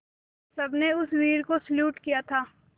सबने उस वीर को सैल्यूट किया था